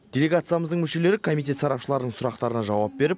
делегациямыздың мүшелері комитет сарапшыларының сұрақтарына жауап беріп